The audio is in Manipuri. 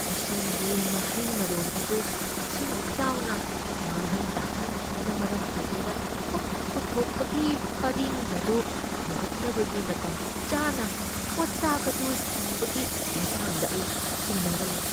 ꯂꯁꯤꯡꯒꯤ ꯃꯍꯩ ꯃꯔꯣꯡ ꯑꯗꯨ ꯏꯁꯤꯡ ꯏꯆꯥꯎꯅ ꯃꯥꯡꯍꯟ ꯇꯥꯛꯍꯟꯈꯤꯕꯅ ꯃꯔꯝ ꯑꯣꯏꯗꯨꯅ ꯄꯣꯠꯊꯣꯛ ꯄꯨꯊꯣꯛꯄꯒꯤ ꯄꯔꯤꯡ ꯑꯗꯨ ꯍꯧꯒꯠꯅꯕꯒꯤ ꯃꯇꯝ ꯆꯥꯅ ꯄꯣꯠꯆꯥꯛ ꯑꯗꯨ ꯐꯪꯕꯒꯤ ꯃꯇꯥꯡꯗ ꯑꯩ ꯆꯤꯡꯅꯕ ꯂꯩ꯫